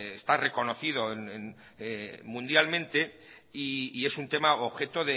está reconocido mundialmente y es un tema objeto